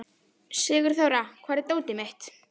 Sigurþóra, hvar er dótið mitt?